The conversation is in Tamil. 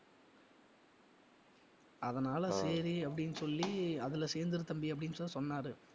அதனால சரி அப்படின்னு சொல்லி அதுல சேர்ந்திரு தம்பி அப்படின்னு சொல்லி சொன்னாரு